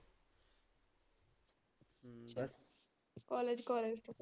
College college.